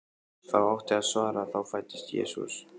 þá átti að svara: þá fæddist Jesús.